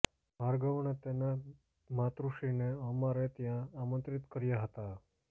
ભાર્ગવ અને તેમનાં માતુશ્રીને અમારે ત્યાં આમંત્રિત કર્યાં હતાં